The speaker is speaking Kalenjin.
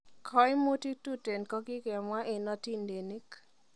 Koimutik tuten kokikemwa en otindenik.